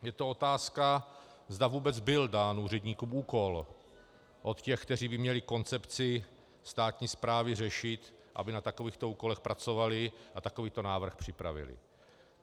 Je to otázka, zda vůbec byl dán úředníkům úkol od těch, kteří by měli koncepci státní správy řešit, aby na takovýchto úkolech pracovali a takovýto návrh připravili.